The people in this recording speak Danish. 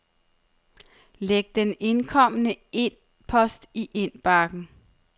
Læg den indkomne e-post i indbakken.